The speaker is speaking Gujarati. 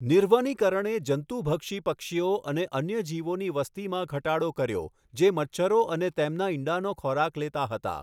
નિર્વનિકરણે જંતુભક્ષી પક્ષીઓ અને અન્ય જીવોની વસ્તીમાં ઘટાડો કર્યો જે મચ્છરો અને તેમના ઈંડાનો ખોરાક લેતા હતા.